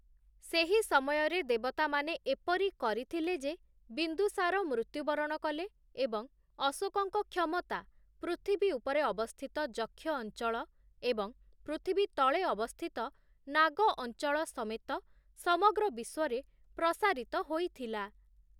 ସେହି ସମୟରେ ଦେବତାମାନେ ଏପରି କରିଥିଲେ ଯେ ବିନ୍ଦୁସାର ମୃତ୍ୟୁବରଣ କଲେ ଏବଂ ଅଶୋକଙ୍କ କ୍ଷମତା ପୃଥିବୀ ଉପରେ ଅବସ୍ଥିତ ଯକ୍ଷ ଅଞ୍ଚଳ ଏବଂ ପୃଥିବୀ ତଳେ ଅବସ୍ଥିତ ନାଗ ଅଞ୍ଚଳ ସମେତ ସମଗ୍ର ବିଶ୍ୱରେ ପ୍ରସାରିତ ହୋଇଥିଲା ।